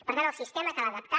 per tant el sistema cal adaptar